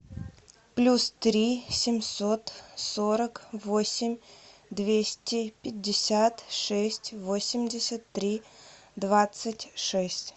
плюс три семьсот сорок восемь двести пятьдесят шесть восемьдесят три двадцать шесть